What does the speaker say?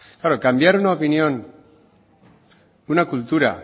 claro cambiar una opinión una cultura